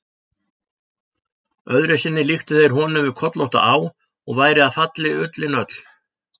Öðru sinni líktu þeir honum við kollótta á, og væri af fallin ullin öll.